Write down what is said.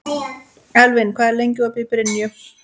Elvin, hvað er lengi opið í Brynju?